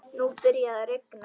Nú byrjaði að rigna.